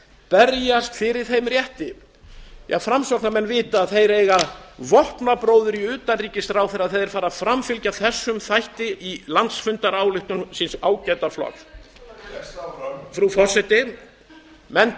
berjast fyrir þeim rétti ja framsóknarmenn vita að þeir eiga vopnabróður í utanríkisráðherra þegar þeir fara að framfylgja þessum þætti í landsfundarályktun síns ágæta flokks utanríkismálanefnd lestu áfram frú forseti menn